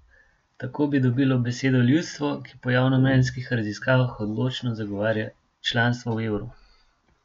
Tako bi dobilo besedo ljudstvo, ki po javnomnenjskih raziskavah odločno zagovarja članstvo v evru.